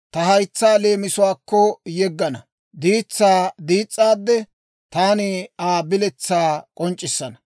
Ta haytsaa leemisuwaakko yeggana; diitsaa diis's'aade, Taani Aa biletsaa k'onc'c'issana.